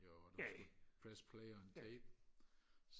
når du skulle press play on k